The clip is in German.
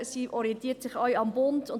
Sie orientiert sich auch am Bund.